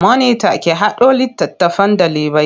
Monita ki haɗo littattafan ɗalibai.